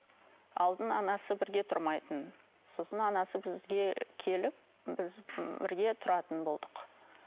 алдын анасы бірге тұрмайтын сосын анасы бізге келіп біз бірге тұратын болдық